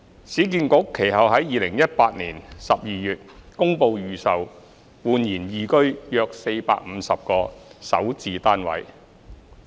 市建局其後在2018年12月公布預售煥然懿居的450個首置單位。